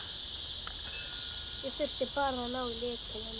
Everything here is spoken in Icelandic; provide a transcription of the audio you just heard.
Ég þurfti bara að ná í lykilinn.